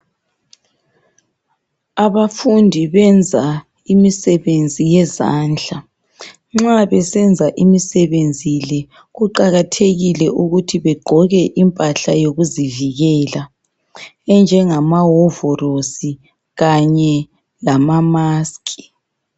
Abafundi benza imisebenzi yezandla nxa besenza imisebenzi le kuqakathekile ukuthi begqoke impahla yokuzivikela enjengamawovorosi kanye lamamask.